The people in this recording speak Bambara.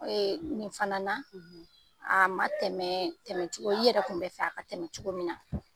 Nin fana na, , a ma tɛmɛ, tɛmɛ cogo i yɛrɛ kun bɛ fɛ a ka tɛmɛ cogo min na.